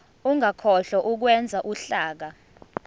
ungakhohlwa ukwenza uhlaka